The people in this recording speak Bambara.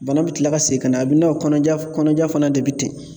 Bana bɛ kila ka segin ka na a bɛ n'a fɔ kɔnɔja kɔnɔna fana de bɛ ten.